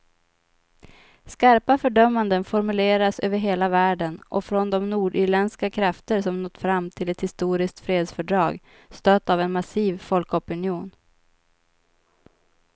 Skarpa fördömanden formuleras över hela världen och från de nordirländska krafter som nått fram till ett historiskt fredsfördrag, stött av en massiv folkopinion.